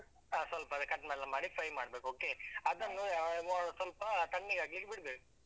ಹಾ ಸ್ವಲ್ಪ cut ಎಲ್ಲ ಮಾಡಿ fry ಮಾಡ್ಬೇಕು okay ಸ್ವಲ್ಪ ತಣ್ಣಗಾಗ್ಲಿಕ್ಕೆ ಬಿಡ್ಬೇಕು.